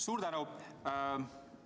Suur tänu!